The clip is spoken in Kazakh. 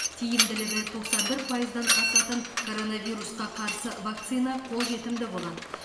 тиімділігі тоқсан бір пайыздан асатын коронавирусқа қарсы вакцина қолжетімді болады